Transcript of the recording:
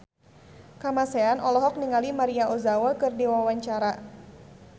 Kamasean olohok ningali Maria Ozawa keur diwawancara